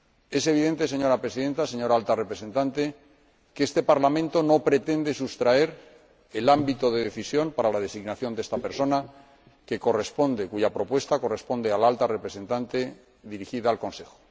Es evidente, señora Presidenta, señora Alta Representante, que este Parlamento no pretende sustraer el ámbito de decisión para la designación de esta persona, ya que la propuesta corresponde a la Alta Representante, quien la eleva al Consejo.